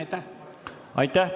Aitäh!